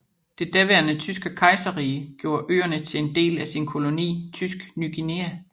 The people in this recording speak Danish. Det daværende Tyske Kejserrige gjorde øerne til en del af sin koloni Tysk Ny Guinea